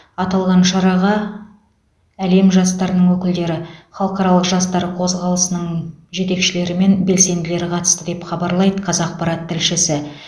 аталған шараға әлем жастарының өкілдері халықаралық жастар қозғалысының жетекшілері мен белсенділері қатысты деп хабарлайды қазақпарат тілшісі